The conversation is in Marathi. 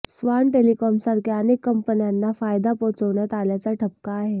स्वान टेलिकॉमसारख्या अनेक कंपन्यांना फायदा पोहोचवण्यात आल्याचा ठपका आहे